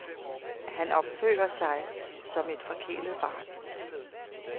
Han opfører sig som et forkælet barn.